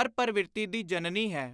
ਹਰ ਪਰਵਿਰਤੀ ਦੀ ਜਨਨੀ ਹੈ।